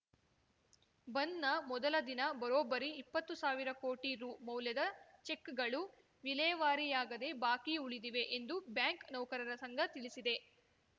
ಬಂದ್‌ನ ಮೊದಲ ದಿನ ಬರೋಬ್ಬರಿ ಇಪ್ಪತ್ತು ಸಾವಿರ ಕೋಟಿ ರು ಮೌಲ್ಯದ ಚೆಕ್‌ಗಳು ವಿಲೇವಾರಿಯಾಗದೇ ಬಾಕಿ ಉಳಿದಿವೆ ಎಂದು ಬ್ಯಾಂಕ್‌ ನೌಕರರ ಸಂಘ ತಿಳಿಸಿದೆ